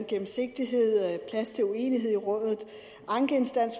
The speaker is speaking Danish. gennemsigtighed plads til uenighed i rådet ankeinstans